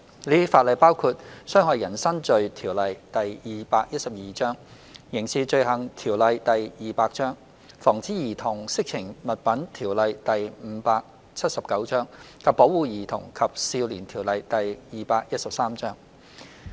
這些法例包括《侵害人身罪條例》、《刑事罪行條例》、《防止兒童色情物品條例》及《保護兒童及少年條例》。